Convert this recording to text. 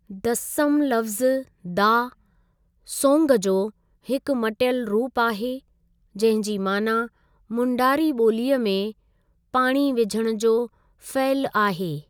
दस्सम लफ़्ज़ु 'दा:सोंग' जो हिकु मटियलु रुप आहे जंहिं जी माना मुंडारी बो॒लीअ में पाणी विझणु जो फ़इलु आहे।